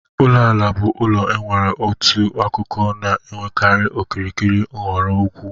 Ulo ala bụ ụlọ nwere otu akụkọ na-enwekarị okirikiri nhọrọ ukwuu.